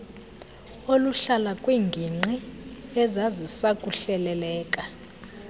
oluhlala kwiingingqi ezazisakuhleleleka